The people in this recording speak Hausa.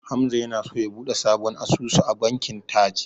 Hamza yana so ya buɗe sabon asusu a bankin Taj.